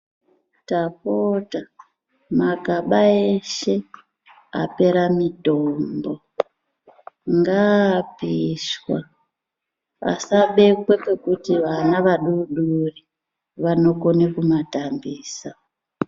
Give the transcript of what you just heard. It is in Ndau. Tapota, magaba ese apera mitombo ngaapishwa asabekwe ngekuti vana vadori dori vanokone kumatambisa.